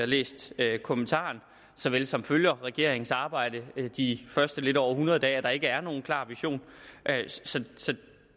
læst kommentaren såvel som fulgt regeringens arbejde de første lidt over hundrede dage at der ikke er nogen klar vision så